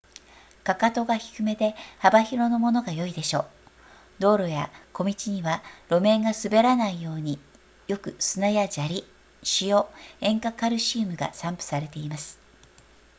踵が低めで幅広のものが良いでしょう道路や小道には路面が滑らないようによく砂や砂利塩塩化カルシウムが散布されています